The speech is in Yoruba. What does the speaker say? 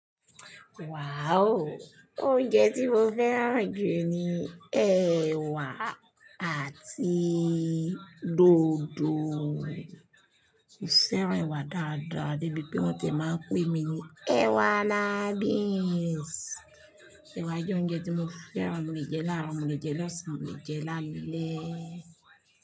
Wow! Oúnjẹ tí mo fẹ́ràn jù ni ẹwà àti dòdò. Mo fẹ́ràn ẹwà dáadáa débi pé wọ́n ti máa ń pè mí ní ẹwà lábí. Yes. Ẹwà jẹ́ oúnjẹ tí mo fẹ́ràn. Mo lè jẹ láàárọ̀, mo lè jẹ ní ọ̀sán, mo lè jẹ lálẹ́.